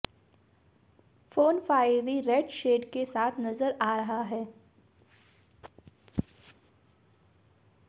phone fiery red shade के साथ नज़र आ रहा है